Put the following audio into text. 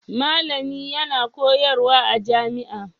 Malami yana koyarwa a jami'a